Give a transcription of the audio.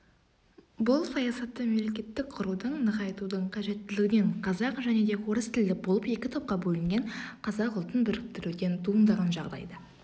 бұл саясатты мемлекетті құрудың нығайтудың қажеттілігінен қазақ және орыс тілді болып екі топқа бөлінген қазақ ұлтын біріктіруден туындаған жағдайда